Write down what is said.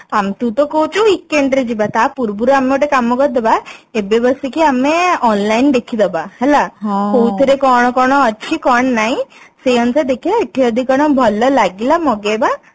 ତୁ ତ କହୁଛୁ weekend ରେ ଯିବା ତା ପୂର୍ବରୁ ଆମେ ଗୋଟେ କାମ କରିଦେବା ଏବେ ବସିକି ଆମେ online ଦେଖି ଦବା ହେଲା କୋଉଥିରେ କଣ କଣ ଅଛି କଣ ନାଇଁ ସେଇ ଅନୁସାରେ ଦେଖିବା ଏଠି ଯଦି କଣ ଭଲ ଲାଗିଲା ମଗେଇବା